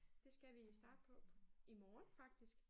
Det skal vi starte på på i morgen faktisk